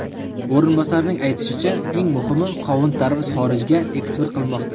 O‘rinbosarning aytishicha, eng muhimi qovun-tarvuz xorijga eksport qilinmoqda.